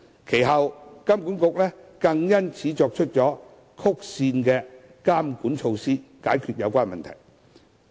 其後金管局更因此作出曲線監管措施，解決有關問題。